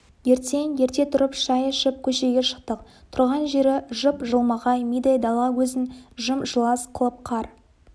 ертең ерте тұрып шай ішіп көшеге шықтық тұрған жері жып-жылмағай мидай дала өзін жым-жылас қылып қар